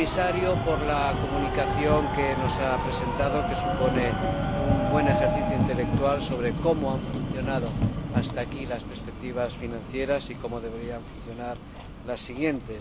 al señor Comisario por la Comunicación que nos ha presentado, que supone un buen ejercicio intelectual sobre cómo han funcionado hasta aquí las perspectivas financieras y cómo deberían funcionar las siguientes.